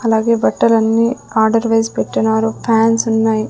అలాగే బట్టలన్నీ order wise పెట్టినారు ఫ్యాన్స్ ఉన్నాయి.